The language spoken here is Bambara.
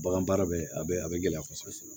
Bagan baara bɛ a bɛ a bɛ gɛlɛya kosɛbɛ